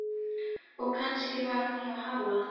Og kannski var hún hjá Halla.